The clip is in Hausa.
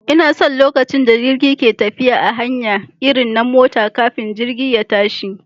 Ina son lokacin da jirgi ke tafiya a hanya irin na mota kafin jirgi ya tashi